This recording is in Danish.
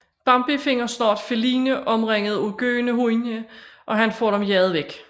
Bambi finder snart Feline omringet af gøende hunde og han får dem jaget væk